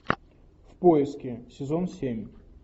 в поиске сезон семь